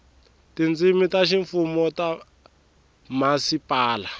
tindzimi ta ximfumo ta mhasipala